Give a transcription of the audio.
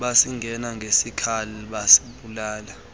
basingena ngezikhali basibulala